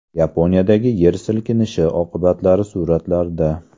Yaponiyadagi yer silkinishi oqibatlari suratlarda.